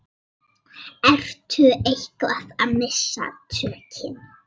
Ertu eitthvað að missa tökin?